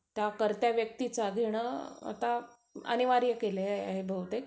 त्या कर्त्या व्यक्तीचा घेणं आता अनिवार्य केलं आहे बहुतेक.